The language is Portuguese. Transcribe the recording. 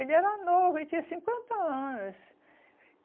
Ele era novo, ele tinha cinquenta anos.